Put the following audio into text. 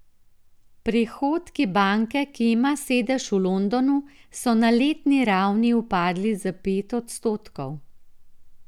Prihodki banke, ki ima sedež v Londonu, so na letni ravni upadli za pet odstotkov.